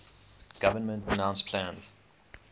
government announced plans